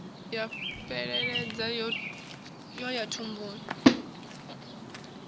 ya fheleledza yo ya thumbuni